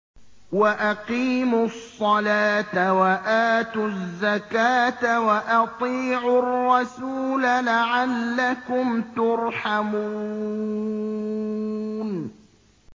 وَأَقِيمُوا الصَّلَاةَ وَآتُوا الزَّكَاةَ وَأَطِيعُوا الرَّسُولَ لَعَلَّكُمْ تُرْحَمُونَ